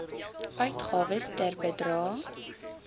uitgawes ter bedrae